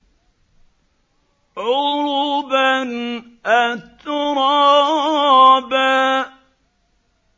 عُرُبًا أَتْرَابًا